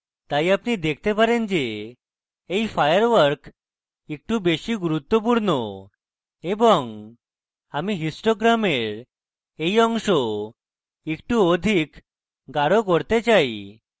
তাই আপনি দেখতে পারেন যে এই firework একটু বেশী গুরুত্বপূর্ণ এবং আমি histogram এই অংশ একটু অধিক গাঢ় করতে চাই